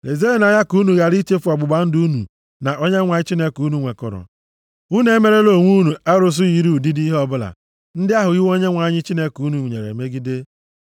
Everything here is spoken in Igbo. Lezienụ anya ka unu ghara ichefu ọgbụgba ndụ unu na Onyenwe anyị Chineke unu nwekọrọ, unu emerela onwe unu arụsị yiri ụdịdị ihe ọbụla, ndị ahụ iwu Onyenwe anyị Chineke unu nyere megidere.